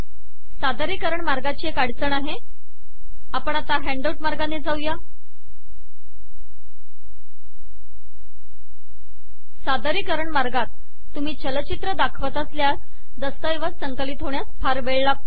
सादरीकरण मार्गाची एक अडचण आहे आपण आता हॅन्डआऊट मार्गाने जाऊ सादरीकरण मार्गात तुम्ही चलचित्र दाखवत असल्यास दस्तऐवज संकलित होण्यास फार वेळ लागतो